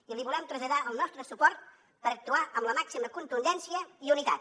i li volem traslladar el nostre suport per actuar amb la màxima contundència i unitat